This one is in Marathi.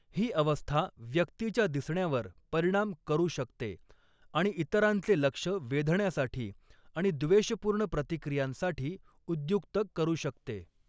ही अवस्था व्यक्तीच्या दिसण्यावर परिणाम करू शकते आणि इतरांचे लक्ष वेधण्यासाठी आणि द्वेषपूर्ण प्रतिक्रियांसाठी उद्युक्त करू शकते.